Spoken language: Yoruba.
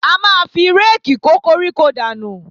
A máa fi réèkì kó koríko dànù